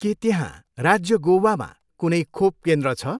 के त्यहाँ राज्य गोवामा कुनै खोप केन्द्र छ?